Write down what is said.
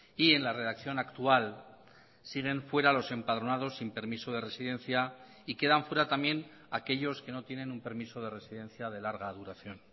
y en la redacción actual siguen fuera los empadronados sin permiso de residencia y quedan fuera también aquellos que no tienen un permiso de residencia de larga duración